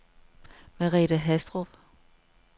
Merethe Haastrup